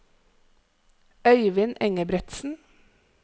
Øyvind Engebretsen